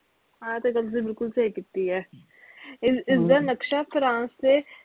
ਆਹ ਤੇ ਗੱਲ ਬਿਲਕੁਲ ਸਹੀ ਕੀਤੀ ਐ ਇਸ ਇਸਦਾ ਨਕਸ਼ਾ ਫਰਾਂਸ ਦੇ